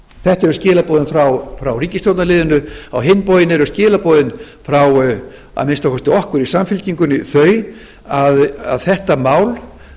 þetta eru skilaboðin frá ríkisstjórnarliðinu á hinn bóginn eru skilaboðin frá að minnsta kosti okkur í samfylkingunni þau að þetta mál